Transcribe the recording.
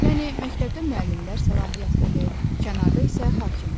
Yəni məktəbdə müəllimlər səlahiyyətlidir, kənarda isə hakimlər.